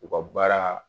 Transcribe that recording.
U ka baara